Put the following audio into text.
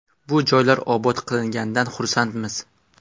Bu joylar obod qilinganidan xursandmiz.